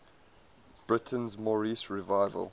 britain's moorish revival